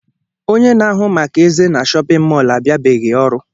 Ónyé na-ahu màkà eze na shóppin mol abiabeghi ọrụ.